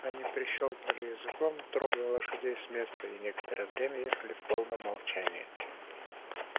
они прищёлкнули языком трогая лошадей с места и некоторое время ехали в полном молчании